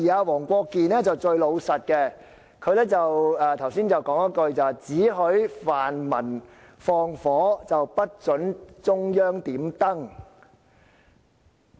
黃國健議員反而最老實，他剛才說了一句話："只許泛民放火，不准中央點燈。